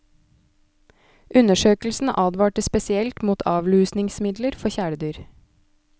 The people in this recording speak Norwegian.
Undersøkelsen advarte spesielt mot avlusningsmidler for kjæledyr.